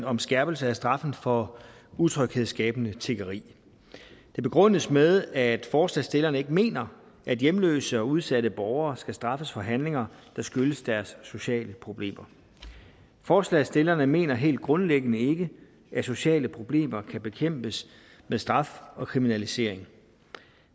om skærpelse af straffen for utryghedsskabende tiggeri det begrundes med at forslagsstillerne ikke mener at hjemløse og udsatte borgere skal straffes for handlinger der skyldes deres sociale problemer forslagsstillerne mener helt grundlæggende ikke at sociale problemer kan bekæmpes med straf og kriminalisering